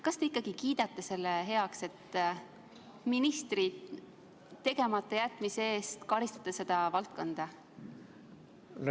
Kas te kiidate heaks selle, et ministri tegematajätmise eest seda valdkonda karistatakse?